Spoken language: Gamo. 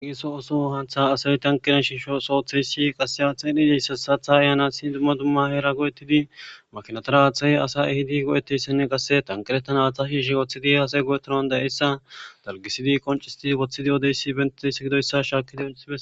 ageso oso hantha asayi tankina shiisho sootherisi qaseya xeeni deyssa satha ayana sin dumma dumma heera go7ettidi makinatara aaththayi asa ehidi go7eteyssenne qasse tankiretana aaththa shiishe wooththidi asay go7etonan da7eyssa dalgisidi qoncisti woththidi odeyssi benteyssegidoyssa shaakidi